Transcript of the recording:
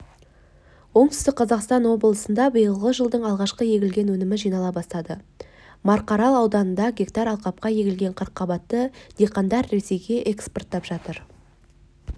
оңтүстік қазақстан облысында биылғы жылдың алғашқы егілген өнімі жинала бастады мақтаарал ауданында гектар алқапқа егілген қырыққабатты диқандар ресейге экспорттап жатыр